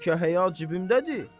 Bəlkə həya cibimdədir.